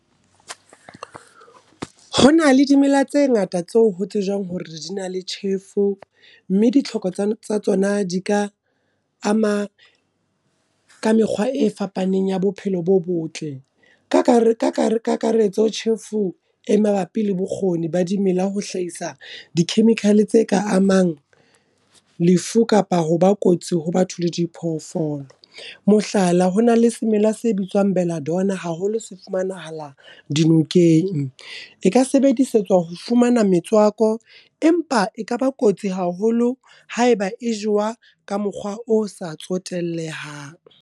Ho na le dimela tse ngata tseo ho tsejwang hore di na le tjhefo, mme ditlhoko tsa tsona di ka ama ka mekgwa e fapaneng ya bophelo bo botle. Ka kakaretso, tjhefu e mabapi le bokgoni ba dimela ho hlahisa di-chemical tse ka amang lefu kapa ho ba kotsi ho batho le di phoofolo. Mohlala, ho na le semela se bitswang Belladonna haholo se fumanahalang dinokeng. E ka sebedisetswa ho fumana metswako, empa ekaba kotsi haholo haeba e jowa ka mokgwa o sa tsotellehang.